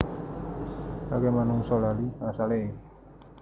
Akeh manungsa lali asale